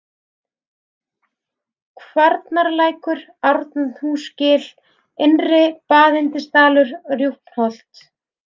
Kvarnarlækur, Árnahúsgil, Innri-Baðyndisdalur, Rjúpnholt